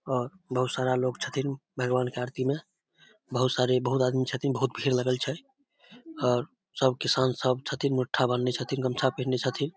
और बहुत सारा लोग छथीन भगवान के आरती में बहुत सारे बहुत आदमी छथीन बहुत भीड़ लगल छै और सब किसान सब छथीन मुट्ठा बांधले छथीन गामछी पिनहले छथीन ।